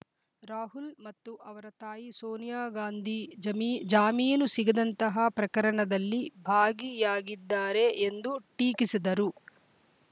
ರಾಹುಲ್‌ ಮತ್ತು ಅವರ ತಾಯಿ ಸೋನಿಯಾ ಗಾಂಧಿ ಜಮಿ ಜಾಮೀನು ಸಿಗದಂತಹ ಪ್ರಕರಣದಲ್ಲಿ ಭಾಗಿಯಾಗಿದ್ದಾರೆ ಎಂದು ಟೀಕಿಸಿದರು